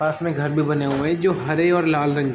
पास में घर भी बने हुए है जो हरे और लाल रंग --